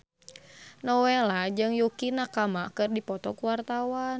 Nowela jeung Yukie Nakama keur dipoto ku wartawan